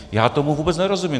Já tomu vůbec nerozumím.